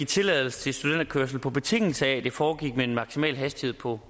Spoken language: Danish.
tilladelse til studenterkørsel på betingelse af det foregik med en maksimal hastighed på